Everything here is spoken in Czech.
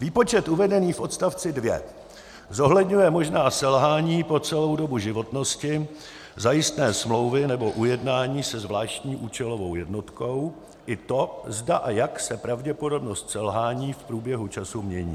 Výpočet uvedený v odst. 2 zohledňuje možná selhání po celou dobu životnosti zajistné smlouvy nebo ujednání se zvláštní účelovou jednotkou, i to, zda a jak se pravděpodobnost selhání v průběhu času mění.